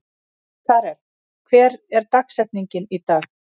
Karel, hver er dagsetningin í dag?